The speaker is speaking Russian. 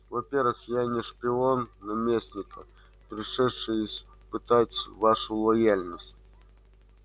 во-первых я не шпион наместника пришедший испытать вашу лояльность